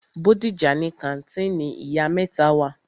Bódìjà ni kàńtìnì ìyá mẹ́ta wà.